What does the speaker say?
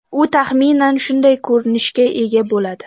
U taxminan shunday ko‘rinishga ega bo‘ladi.